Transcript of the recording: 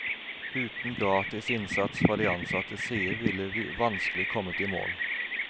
Uten gratis innsats fra de ansattes side ville vi vanskelig kommet i mål.